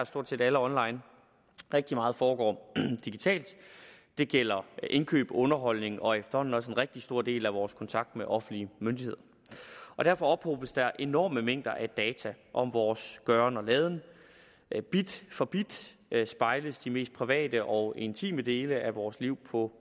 stort set alle online rigtig meget foregår digitalt det gælder indkøb underholdning og efterhånden også en rigtig stor del af vores kontakt med offentlige myndigheder derfor ophobes der enorme mængder af data om vores gøren og laden bit for bit spejles de mest private og intime dele af vores liv på